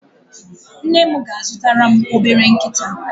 Nne m ga-azụtara m obere nkịta.